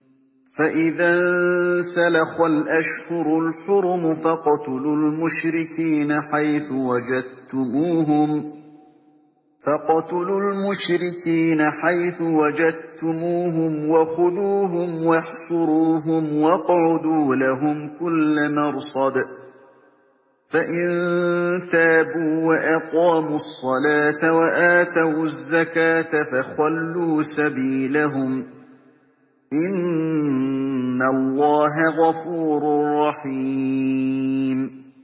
فَإِذَا انسَلَخَ الْأَشْهُرُ الْحُرُمُ فَاقْتُلُوا الْمُشْرِكِينَ حَيْثُ وَجَدتُّمُوهُمْ وَخُذُوهُمْ وَاحْصُرُوهُمْ وَاقْعُدُوا لَهُمْ كُلَّ مَرْصَدٍ ۚ فَإِن تَابُوا وَأَقَامُوا الصَّلَاةَ وَآتَوُا الزَّكَاةَ فَخَلُّوا سَبِيلَهُمْ ۚ إِنَّ اللَّهَ غَفُورٌ رَّحِيمٌ